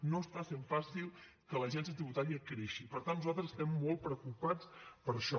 no està sent fàcil que l’agència tributària creixi i per tant nosaltres estem molt preocupats per això